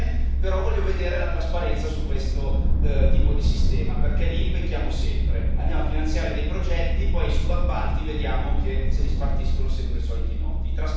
Bene, però voglio vedere la trasparenza su questo tipo di sistema, perché lì pecchiamo sempre andiamo a finanziare dei progetti e poi vediamo che i subappalti se li spartiscono sempre i soliti noti.